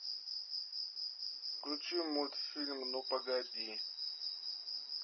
включи мультфильм ну погоди